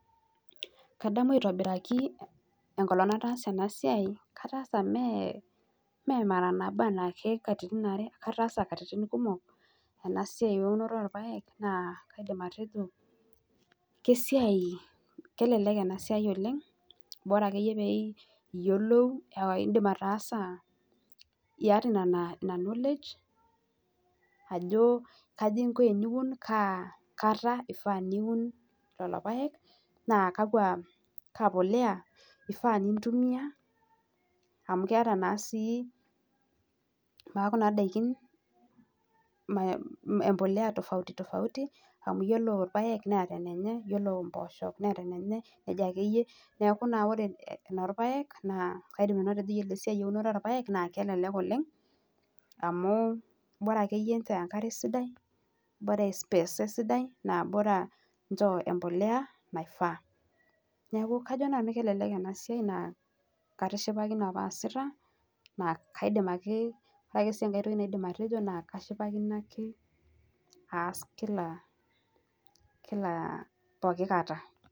Kadamu aitobiraki enkolong nataasa ena siai, kataasa mee mara nabo enaki katitin are, ataasa katitin kumok ena siai eunoto orpaek naa kaidim atejo kesai, kelelek ena siai oleng, bora akeyie pee iyiolou indim ataasa, iyata ina knowledge ajo kajo inko eniun, kaa kata ifaa niun lelo paek naa kakwa, kaa polea ifaa nintumia amu keata naa sii kuna daiki mbolea tofauti tofauti amu iyiolo irpaek neeta enenye, iyiolo mboosho neeta enenye, neija akeyie. Neeku naa ore enorpaek naa kaidim nanu atejo iyiolo siai eunoto orpaek naa kelelek oleng amu bora keyie inchoo enkare sidai, bora ispesa esidai naa bora nchoo mbolea naifaa. Kajo nanu kelelek ena siai naa katishipakine opa aasita naa kaidim ake, ore ake sii enkae toki naadim atejo naa kashipakino ake aas kila, kila pooki kata